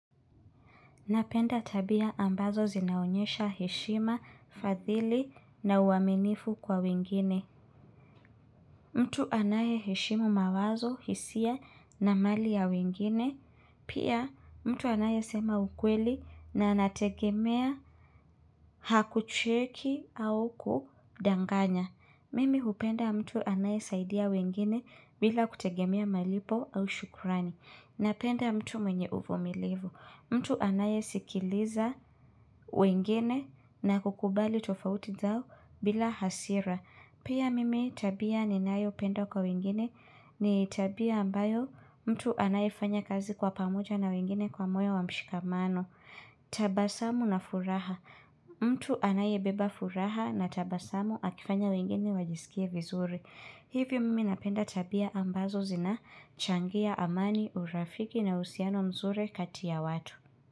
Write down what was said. Napenda tabia ambazo zinaonyesha heshima, fadhili na uaminifu kwa wengine. Mtu anayeheshimu mawazo, hisia na mali ya wingine. Pia mtu anayesema ukweli na anategemea hakucheki au kudanganya. Mimi hupenda mtu anayesaidia wengine bila kutegemea malipo au shukrani. Napenda mtu mwenye uvumilivu. Mtu anayesikiliza wengine na kukubali tofauti zao bila hasira. Pia mimi tabia ninayopenda kwa wengine ni tabia ambayo mtu anayefanya kazi kwa pamoja na wengine kwa moyo wa mshikamano. Tabasamu na furaha. Mtu anayebeba furaha na tabasamu akifanya wengine wajisikie vizuri. Hivyo mimi napenda tabia ambazo zinachangia amani, urafiki na uhusiano mzuri kati ya watu.